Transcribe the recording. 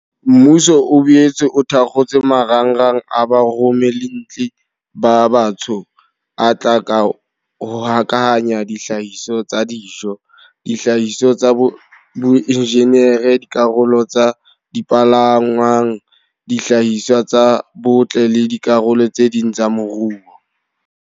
Mmuso o boetse o thakgotse marangrang a baromellintle ba batsho a tla hokahanya dihlahiswa tsa dijo, dihlahiswa tsa boinjinere, dikarolo tsa dipalangwang, dihlahiswa tsa botle le dikarolo tse ding tsa moruo.